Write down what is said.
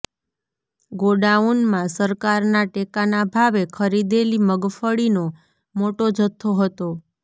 ગોડાઉનમાં સરકારના ટેકાના ભાવે ખરીદેલી મગફળીનો મોટો જથ્થો હતો